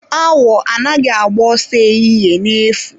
Awo anaghị agba ọsọ ehihie na-efu.